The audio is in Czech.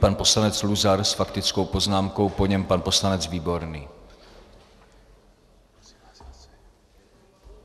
Pan poslanec Luzar s faktickou poznámkou, po něm pan poslanec Výborný.